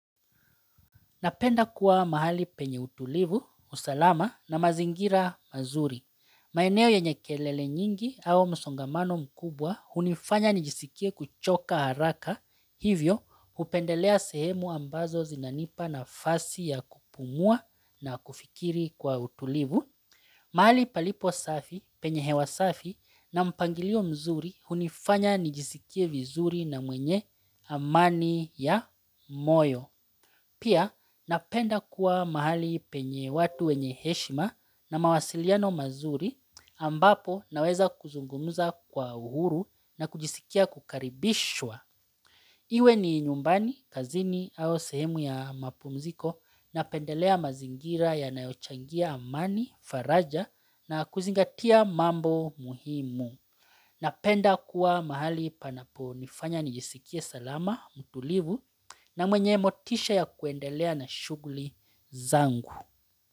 Napenda kuwa mahali penye utulivu, usalama na mazingira mazuri. Maeneo yenye kelele nyingi au masongamano mkubwa hunifanya nijisikie kuchoka haraka, hivyo hupendelea sehemu ambazo zinanipa nafasi ya kupumua na kufikiri kwa utulivu. Mahali palipo safi penye hewa safi na mpangilio mzuri hunifanya nijisikie vizuri na mwenye amani ya moyo. Pia napenda kuwa mahali penye watu wenye heshima na mawasiliano mazuri ambapo naweza kuzungumuza kwa uhuru na kujisikia kukaribishwa. Iwe ni nyumbani, kazini au sehemu ya mapumziko napendelea mazingira yanayochangia amani, faraja na kuzingatia mambo muhimu. Napenda kuwa mahali panapo nifanya nijisikie salama, mtulivu, na mwenye motisha ya kuendelea na shuguli zangu.